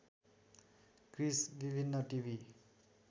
Chris विभिन्न TV